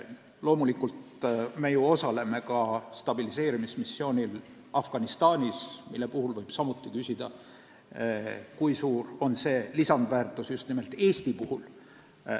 Loomulikult me ju osaleme ka stabiliseerimismissioonil Afganistanis, mille puhul võib samuti küsida, kui suur on sellest saadav lisandväärtus.